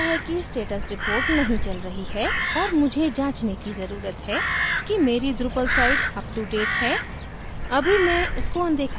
यह दर्शाता है कि status report नहीं चल रही है और मुझे जाँचने की जरूरत है कि मेरी drupal site up to date है